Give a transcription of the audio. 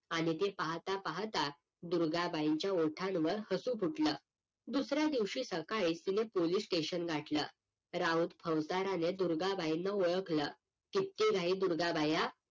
आणि ते पाहता पाहता दुर्गाबाईंच्या ओठांवर हसू फुटलं दुसऱ्या दिवशी सकाळी तिनं पोलीस स्टेशन गाठलं राऊत फौजदाराने दुर्गाबाईंना ओळखलं किती राही दुर्गा बाया